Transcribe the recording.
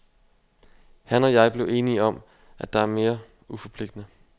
Han og jeg blev enige om, at det er mere uforpligtigende.